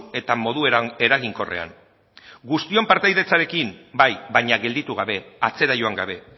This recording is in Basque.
eta modu eraginkorrean guztion partaidetzarekin bai baina gelditu gabe atzera joan gabe